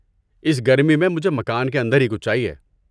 اس گرمی میں مجھے مکان کے اندر ہی کچھ چاہیے۔